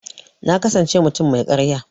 Na kasance mutum mai karya.